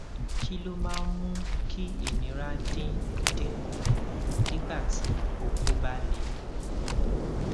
kí ló máa ń mú kí ìnira dín dín kù nígbà tí oko ba le